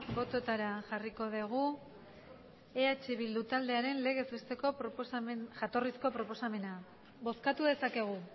botoetara jarriko dugu eh bildu taldearen legez besteko jatorrizko proposamena bozkatu dezakegu